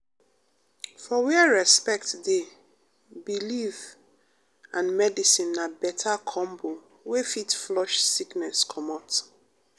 for where respect dey belief um and medicine na beta combo wey fit flush sickness comot.